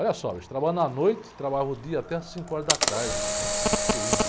Olha só, bicho, trabalhando à noite, trabalhava o dia até às cinco horas da tarde, construindo.